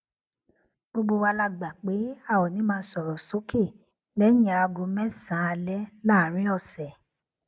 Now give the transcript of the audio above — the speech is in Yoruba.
gbogbo wa la gbà pé a ò ní máa sòrò sókè léyìn aago mésànán alé láàárín òsè